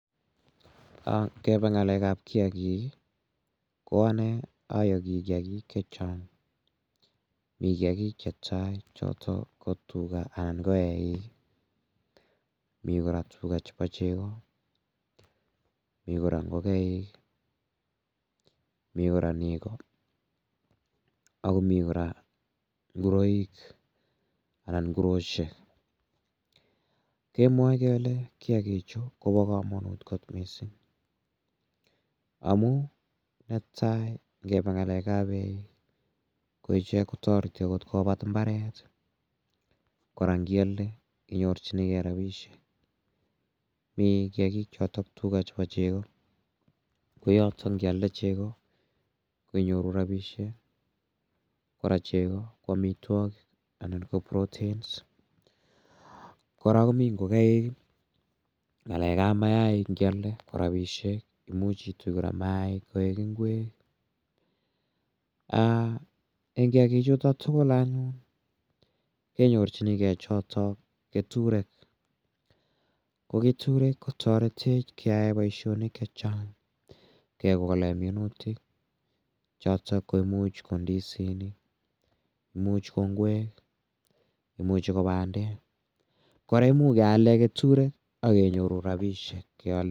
Ngepa ng'alekab kiyakik ko ane ayoki kiyakik chechang' mi kiyakik chetai choto ko tuga anan ko eik mi kora tuga chebo chego mi kora ngokaik mi kora neko ako mii kora nguroik anan nguroshek kemwoe kele kiyakichu kobo komonut kot mising' amu netai ngeba ng'alekab eik ko iche kotoreti akot kobat mbaret kora ngialde inyorchigei rabishek mi kiyakik chotok tuga chebo chego ko yoto ngialde chegoko ko inyoru rabishek kora chego ko omitwokik ana ko proteins kora komi ngokaik ng'alekab mayaik ngialde ko robishek imuuch itui kora mayaik koek ng'wek eng' kiyakichuto tugul anyun kenyorchinigei choto keturek ko keturek kotoretech keyae boishonik chechang' kekole minutik choto ko imuuch ko ndisinik muuch ko ng'wek imuchi ko bandek kora ko imuuch kealde keturek akenyoru rabishek